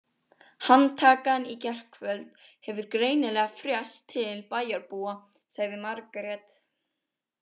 Handtakan í gærkvöld hefur greinilega frést til bæjarbúa, sagði Margrét.